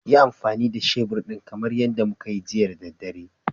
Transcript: Yi amfani da shebur ɗin kamar yadda muka yi jiya da daddare